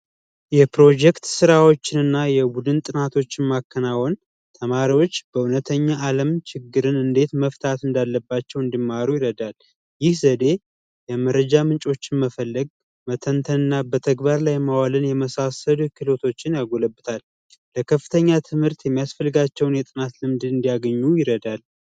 የፕሮጀክት ስራዎችንና የቡድን ጥናቶችን ማከናወን ተማሪዎች በእውነተኛ አለም ችግርን እንዴት መፍታት እንዳለባቸው እንዲማሩ ለማወቅ ይረዳናል የዘዴ የመረጃ ምንጮችን መፈለግ መተንተን እና በተግባር ላይ ማዋልን የመሳሰሉ ክህሎቶችን ያጎለብታል ለከፍተኛ ትምህርት የሚያስፈልጋቸውን የጥናት ፍንጭ እንዲያገኙ ይረዳል።